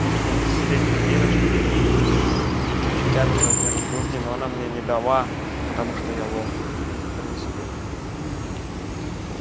я видел десятилетнюю девочку с пятым размером груди но она мне не дала потому что я лох и в принципе